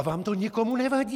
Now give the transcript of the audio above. A vám to nikomu nevadí!